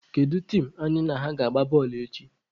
Kedu tim anyị na ha ga-agba bọọlụ echi?